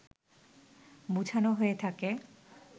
বুঝানো হয়ে থাকে